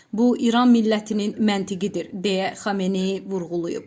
Bu İran millətinin məntiqidir", deyə Xameneyi vurğulayıb.